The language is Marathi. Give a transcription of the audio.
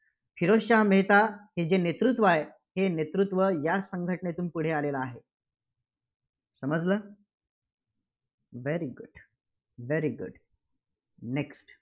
फिरोजशहा मेहता हे जे नेतृत्व आहे, हे नेतृत्व या संघटनेतून पुढे आलेलं आहे. समजलं. very good very good next